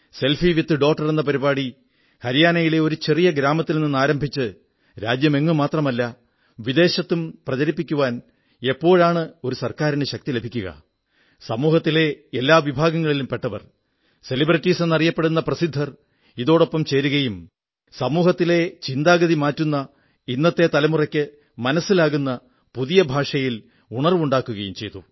selfie with daughter എന്ന പരിപാടി ഹരിയാനയിലെ ഒരു ചെറിയ ഗ്രാമത്തിൽ ആരംഭിച്ച് രാജ്യമെങ്ങും മാത്രമല്ല വിദേശത്തും പ്രചരിപ്പിക്കുവാൻ എപ്പോഴാണ് ഒരു സർക്കാരിന് ശക്തി ലഭിക്കുക സമൂഹത്തിലെ എല്ലാ വിഭാഗങ്ങളിലും പെട്ടവർ സെലിബ്രിറ്റീസെന്നറിയപ്പെടുന്ന പ്രസിദ്ധർ ഇതോടൊപ്പം ചേരുകയും സമൂഹത്തിലെ ചിന്താഗതി മാറ്റുന്ന ഇന്നത്തെ തലമുറയ്ക്കു മനസ്സിലാകുന്ന പുതിയ ഭാഷയിൽ ഉണർവ്വുണ്ടാക്കുകയും ചെയ്തു